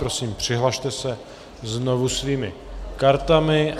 Prosím, přihlaste se znovu svými kartami.